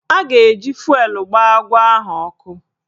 A ga-eji fụelụ gbaa agwọ ahụ ọkụ